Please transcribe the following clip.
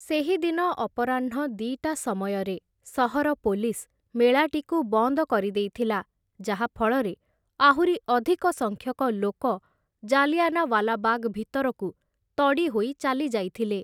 ସେହି ଦିନ ଅପରାହ୍ଣ ଦି'ଟା ସମୟରେ ସହର ପୋଲିସ୍ ମେଳାଟିକୁ ବନ୍ଦ କରିଦେଇଥିଲା, ଯାହାଫଳରେ ଆହୁରି ଅଧିକ ସଂଖ୍ୟକ ଲୋକ ଜାଲିଆନାୱାଲା ବାଗ୍‌ ଭିତରକୁ ତଡ଼ିହୋଇ ଚାଲିଯାଇଥିଲେ ।